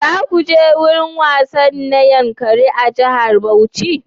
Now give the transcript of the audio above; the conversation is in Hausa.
Za ku je wurin wasanni na Yankari a jihar Bauchi?